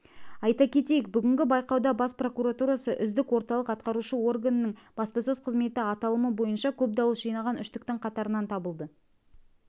айта кетейік бүгінгі байқауда бас прокуратурасы үздік орталық атқарушы органының баспасөз қызметі аталымы бойынша көп дауыс жинаған үштіктің қатарынан табылды